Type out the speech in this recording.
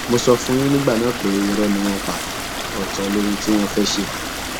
mo sọ fún yín nígbà náà pé irọ ni wọn ń pa ọtọ lóhun tí wọn fẹẹ ṣe